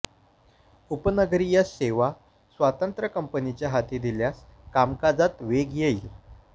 उपनगरीय सेवा स्वतंत्र कंपनीच्या हाती दिल्यास कामकाजात वेग येईल